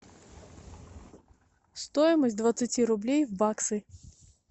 стоимость двадцати рублей в баксы